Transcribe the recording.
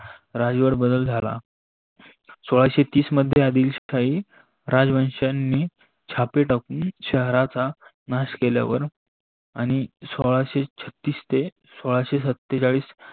रज्येवर बदल झाला. सोळाशे तीस मध्ये आदिलशाही राजवंशनी छापे ठाकून शहाराचा नास केल्यावर आणि सोळासे छत्तीस ते सोळाशे सत्तेचाळीस